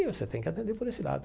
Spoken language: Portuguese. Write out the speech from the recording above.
E você tem que atender por esse lado.